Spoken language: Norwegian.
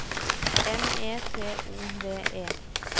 M E T O D E